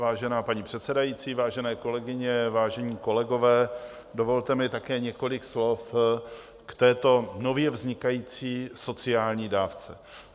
Vážená paní předsedající, vážené kolegyně, vážení kolegové, dovolte mi také několik slov k této nově vznikající sociální dávce.